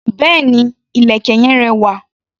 Béèni, ìlẹ̀kẹ̀ yen rẹwà.